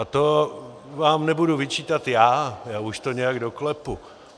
A to vám nebudu vyčítat já, já už to nějak doklepu.